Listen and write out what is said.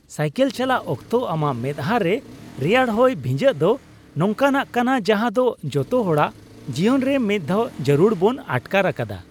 Cycle ᱪᱟᱞᱟᱣ ᱚᱠᱛᱚ ᱟᱢᱟᱜ ᱢᱮᱛᱦᱟ ᱨᱮ ᱨᱮᱭᱟᱲ ᱦᱚᱭ ᱵᱷᱤᱡᱟᱹᱜ ᱫᱳ ᱱᱚᱝᱠᱟᱱᱟᱜ ᱠᱟᱱᱟ ᱡᱟᱦᱟᱸ ᱫᱚ ᱡᱚᱛᱚ ᱦᱚᱲᱟᱜ ᱡᱤᱭᱚᱱ ᱨᱮ ᱢᱤᱫ ᱫᱷᱟᱣ ᱡᱟᱹᱨᱩᱲ ᱵᱚᱱ ᱟᱴᱠᱟᱨ ᱟᱠᱟᱫᱼᱟ ᱾